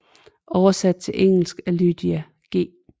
Oversat til engelsk af Lydia G